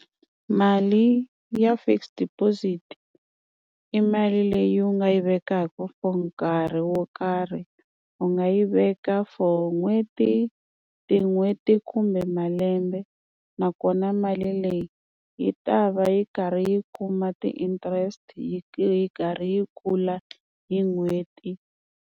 Mali ya fixed deposit i mali leyi u nga yi vekaka for nkarhi wo karhi u nga yi veka for n'hweti tin'hweti kumbe malembe nakona mali leyi yi ta va yi karhi yi kuma ti-interest yi yi karhi yi kula hi n'hweti.